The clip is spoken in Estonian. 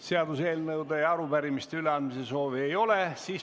Seaduseelnõude ja arupärimiste üleandmise soovi ei ole.